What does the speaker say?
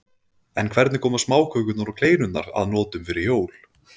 En hvernig koma smákökurnar og kleinurnar að notum fyrir jól?